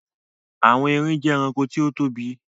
Àwọn erin jẹ́ ẹranko tí ó tóbi.